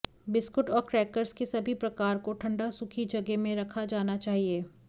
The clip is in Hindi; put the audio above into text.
बिस्कुट और क्रैकर्स के सभी प्रकार को ठंडा सूखी जगह में रखा जाना चाहिए